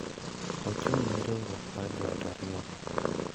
Ochung’ ne riwruok mar joot ariyogo.